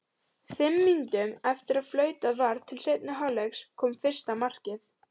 Fimm mínútum eftir að flautað var til seinni hálfleiks kom fyrsta markið.